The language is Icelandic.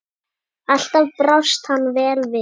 Alltaf brást hann vel við.